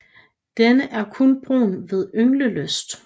Den er kun brun ved ynglelyst